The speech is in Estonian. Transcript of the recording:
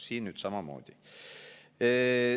Siin on samamoodi.